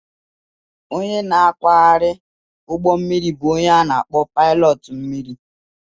Onye na-akwagharị ụgbọ mmiri bụ onye a na akpo pilot mmiri